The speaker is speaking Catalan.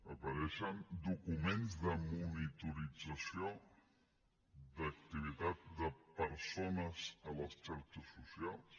apareixen documents de monitorització d’activitat de persones a les xarxes socials